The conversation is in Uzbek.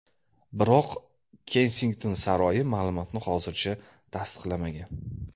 Biroq Kensington saroyi ma’lumotni hozircha tasdiqlamagan.